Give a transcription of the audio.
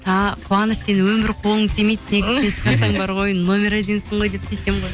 қуаныш сенің өмірі қолың тимейді номер одинсың ғой деп тиісемін ғой